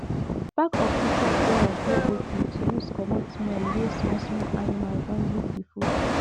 back of bitter kola dey okay to use comot smell wey small small animals don give the food